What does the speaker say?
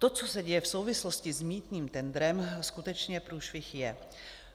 To, co se děje v souvislosti s mýtným tendrem, skutečně průšvih je.